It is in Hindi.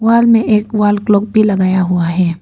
मे एक वॉल क्लॉक भी लगाया हुआ है।